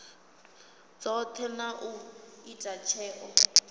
dzothe na u ita tsheo